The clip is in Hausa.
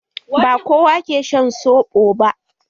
Ba kowa ke shan soɓo ba.